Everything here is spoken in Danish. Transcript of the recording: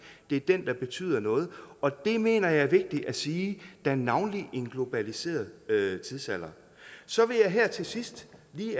det er den der betyder noget og det mener jeg er vigtigt at sige da navnlig i en globaliseret tidsalder så vil jeg lige her til sidst